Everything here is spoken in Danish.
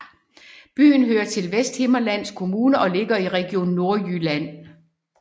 Byen hører til Vesthimmerlands Kommune og ligger i Region Nordjylland